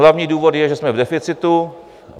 Hlavní důvod je, že jsme v deficitu.